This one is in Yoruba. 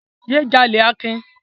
Yé jalè Akin!